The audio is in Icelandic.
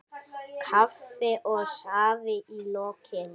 Kaffi og safi í lokin.